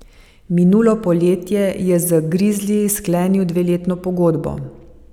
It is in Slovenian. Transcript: Minulo poletje je z grizliji sklenil dveletno pogodbo.